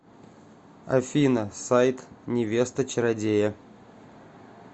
афина сайт невеста чародея